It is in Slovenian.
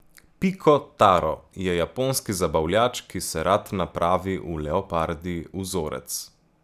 Piko Taro je japonski zabavljač, ki se rad napravi v leopardji vzorec.